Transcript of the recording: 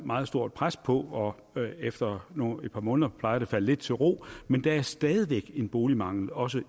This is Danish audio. meget stort pres på og efter et par måneder plejer det at falde lidt til ro men der er stadig væk en boligmangel også